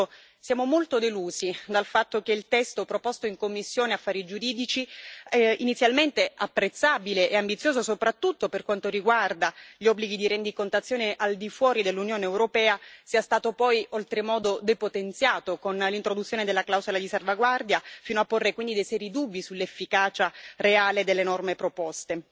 Per questo siamo molto delusi dal fatto che il testo proposto in commissione giuridica, inizialmente apprezzabile e ambizioso, soprattutto per quanto riguarda gli obblighi di rendicontazione al di fuori dell'Unione europea, sia stato poi oltremodo depotenziato con l'introduzione della clausola di salvaguardia, fino a porre quindi dei seri dubbi sull'efficacia reale delle norme proposte.